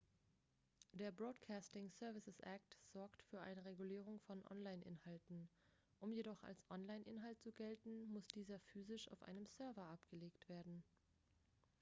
der broadcasting services act sorgt für eine regulierung von online-inhalten um jedoch als online-inhalt zu gelten muss dieser physisch auf einem server abgelegt sein